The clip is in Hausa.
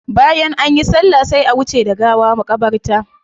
Bayan anyi sallah sai a wuce da gawa makabarta.